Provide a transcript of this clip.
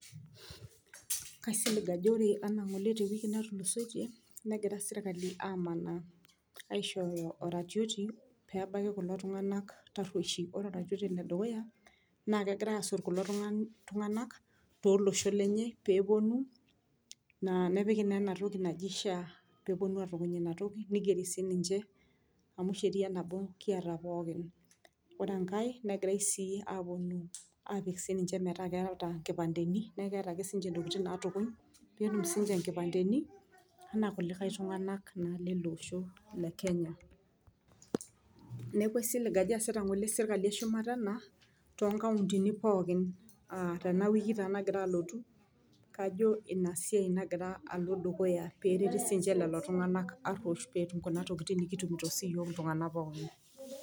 Kaisilig enaa ore ngole te wiki natulusoitie negira sirkali amanaa aishooyo oratioti pebaiki kulo tunganak taruoshi. Ore oratioti le dukuya naa kegirae asot kulo tunganak toloshon lenye peponu naa nepiki naa ena toki naji sha , peeponu atukuny ina toki , nigeri sininche amu sheria nabo kiata pookin. Ore enkae negirae sii aponu apik ninche metaa nkipandeni , niaku keetae ake si ntokitin natukuny peetum sininche nkipandeni anaa irkulikae tunganak lele osho le kenya. Niaku aisilig ngole ajo easita ngole sirkali eshumata ena too nkauntini pookin aa tena wiki nagira alotu , kajo ina siai alo dukuya pereti sininche lelo aruosh peetum sininche nena tokitin nikitumito siiyiook pookin.